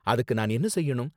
அதுக்கு நான் என்ன செய்யணும்?